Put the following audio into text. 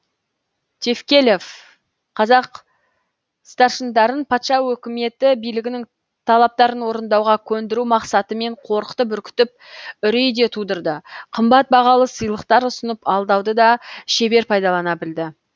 тевкелев қазақ старшындарын патша өкіметі билігінің талаптарын орындауға көндіру мақсатымен қорқытып үркітіп үрей де тудырды қымбат бағалы сыйлықтар ұсынып алдауды да шебер пайдалана білді